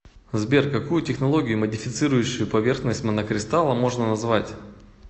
сбер какую технологию модифицирующую поверхность монокристалла можно назвать